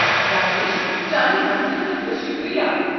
راجیش، چانہِ مدتہٕ خٲطرٕ شُکریہ۔